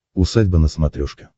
усадьба на смотрешке